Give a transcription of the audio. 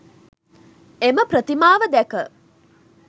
එම ප්‍රතිමාව දැක